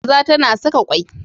Kaza tana Saka kwai.